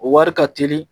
O wari ka teli